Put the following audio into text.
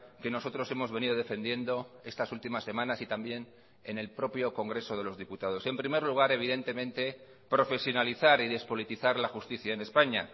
que nosotros hemos venido defendiendo estas últimas semanas y también en el propio congreso de los diputados en primer lugar evidentemente profesionalizar y despolitizar la justicia en españa